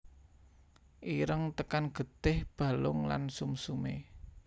Ireng tekan getih balung lan sumsume